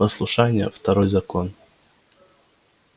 послушание второй закон